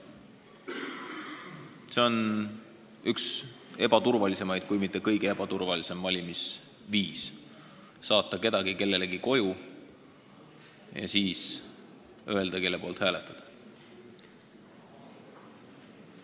See on üks ebaturvalisemaid, kui mitte kõige ebaturvalisem valimisviis, kui saadame kellegi mõne inimese koju ja ütleme talle, kelle poolt hääletada.